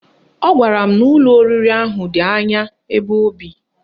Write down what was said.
Ọ gwara m n'ụlọ oriri ahụ dị anya ebe o bi